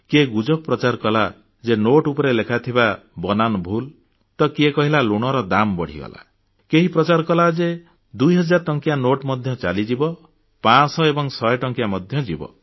କିଏ ଗୁଜବ ପ୍ରଚାର କଲା ଯେ ନୋଟ୍ ଉପରେ ଲେଖାଥିବା ବନାନ ଭୁଲ ତ କିଏ କହିଲା ଲୁଣର ଦାମ ବଢ଼ିଗଲା କେହି ପ୍ରଚାର କଲା ଯେ 2000 ଟଙ୍କିଆ ନୋଟ ମଧ୍ୟ ଚାଲିଯିବ 500 ଏବଂ ଶହେ ଟଙ୍କିଆ ମଧ୍ୟ ଯିବ